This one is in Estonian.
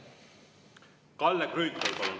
Kalle Grünthal, palun!